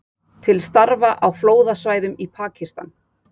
Til starfa á flóðasvæðum í Pakistan